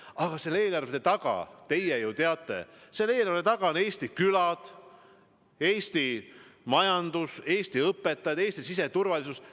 Aga selle eelarve taga, teie ju teate, on Eesti külad, Eesti majandus, Eesti õpetajad, Eesti siseturvalisus.